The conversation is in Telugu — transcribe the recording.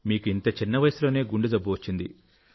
మీకు ఇంత చిన్న వయసులోనే గుండె జబ్బు వచ్చింది